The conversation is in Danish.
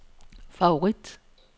favorit